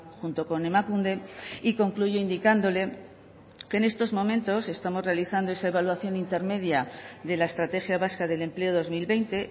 junto con emakunde y concluye indicándole que en estos momentos estamos realizando esa evaluación intermedia de la estrategia vasca del empleo dos mil veinte